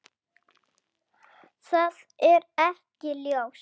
Það er ekki ljóst.